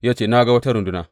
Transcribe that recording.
Ya ce, Na ga wata runduna.